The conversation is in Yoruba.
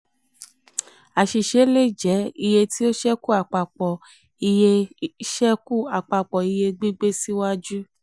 àṣìṣe le jẹ: iye tí ó ṣekú àpapọ̀ iye ṣekú àpapọ̀ iye gbígbé síwájú.